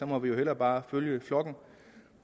må vi jo hellere bare følge flokken